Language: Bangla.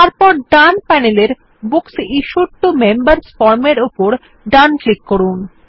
তারপর ডান প্যানেলের books issued to members form এর উপর ডান ক্লিক করুন